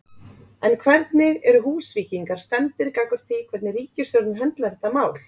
En hvernig eru Húsvíkingar stemmdir gagnvart því hvernig ríkisstjórnin höndlar þetta mál?